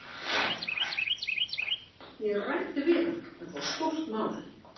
Ég ræddi við hann, þetta var stórt mál.